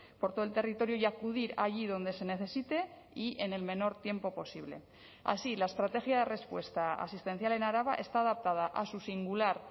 por todo el territorio y acudir allí donde se necesite y en el menor tiempo posible así la estrategia de respuesta asistencial en araba está adaptada a su singular